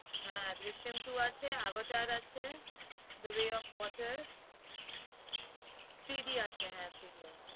হ্যাঁ Drishyam two আছে avatar আছে The way of water three D আছে হ্যাঁ three D আছে।